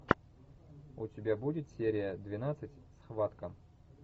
у тебя будет серия двенадцать схватка